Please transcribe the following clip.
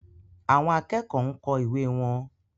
Àwọn akẹ́kọ̀ọ́ ń kọ ìwé wọn.